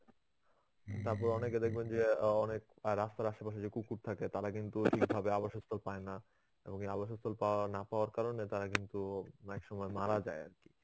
হ্যাঁ ভাই. তারপর অনেকে দেখবেন যে অ্যাঁ অনেক রাস্তার আশেপাশে যে কুকুর থাকে তারা কিন্তু ঠিকভাবে আবাসস্থল পায় না. এবং এই আবাসস্থল পাওয়া না পাওয়ার কারণে তারা কিন্তু অনেক সময় মারা যায় আর কি.